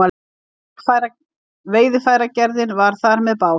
Veiðarfæragerðin var þar með bás.